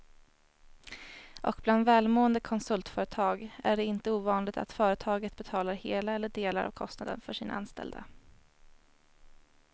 Och bland välmående konsultföretag är det inte ovanligt att företaget betalar hela eller delar av kostnaden för sina anställda.